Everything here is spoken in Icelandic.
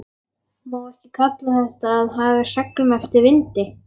Má ekki kalla þetta að haga seglum eftir vindi?